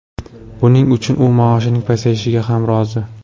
Buning uchun u maoshining pasayishiga ham rozi.